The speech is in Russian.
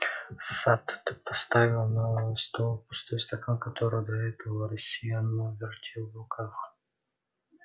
сатт поставил на стол пустой стакан который до этого рассеянно вертел в руках